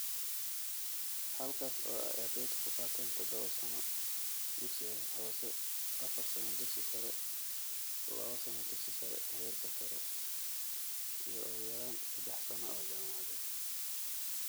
Halkaas oo ay ardaydu ku qaateen tadhawo sano dugsi hoose, afaar sano dugsi sare, lawo sano dugsi sare (Heerka Sare) iyo ugu yaraan sedax sano oo jaamacadeed